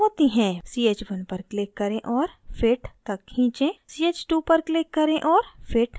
ch1 पर click करें और fit तक खींचें ch2 पर click करें और fit तक खींचें